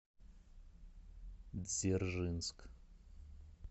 дзержинск